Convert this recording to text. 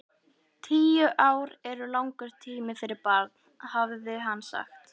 Tíu ár eru langur tími fyrir barn, hafði hann sagt.